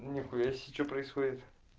нихуя себе что происходит